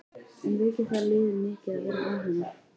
En veikir það liðið mikið að vera án hennar?